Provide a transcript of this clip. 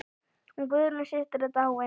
Hún Guðrún systir er dáin.